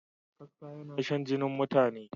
Kaska yinashan jinin mutane.